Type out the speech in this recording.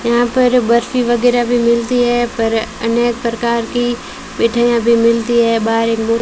यहां पर बर्फी वगैरह भी मिलती है पर अनेक प्रकार की मिठाइयां भी मिलती है बाहर एक --